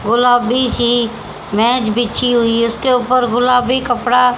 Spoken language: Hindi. गुलाबी सी मेज बिछी हुई है इसके ऊपर गुलाबी कपड़ा--